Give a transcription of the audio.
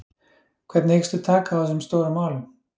Hvernig hyggstu taka á þessum stóru málum?